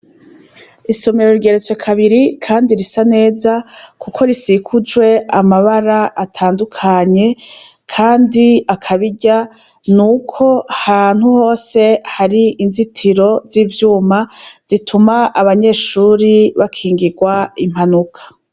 Isomero rigeretse kabiri kandi risa neza kuko risekujwe amabara atandukanye kandi akabirya nuko ahantu hose hari inzitiro zivyuma zituma abanyeshure bakingirwa impanuka